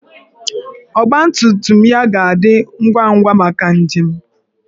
Ọgbatumtum ya ga-adị ngwa ngwa maka njem.